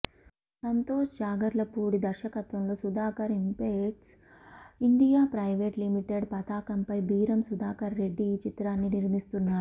సంతోష్ జాగర్లపూడి దర్శకత్వంలో Sudhakar impex India private limited పతాకంపై బీరం సుధాకర్ రెడ్డి ఈ చిత్రాన్ని నిర్మిస్తున్నారు